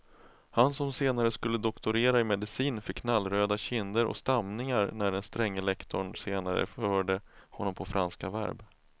Han som senare skulle doktorera i medicin fick knallröda kinder och stamningar när den stränge lektorn senare förhörde honom på franska verb.